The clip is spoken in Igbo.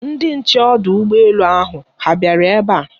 Ndị nche ọdụ ụgbọ elu ahụ ha bịara ebe a?